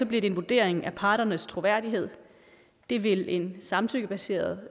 bliver det en vurdering af parternes troværdighed det vil en samtykkebaseret